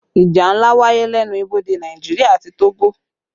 Ìjà ńlá wáyé lẹ́nu ibodè Nàìjíríà àti Togo